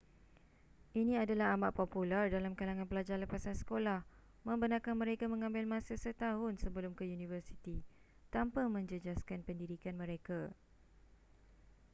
ini adalah amat popular dalam kalangan pelajar lepasan sekolah membenarkan mereka mengambil masa setahun sebelum ke universiti tanpa menjejaskan pendidikan mereka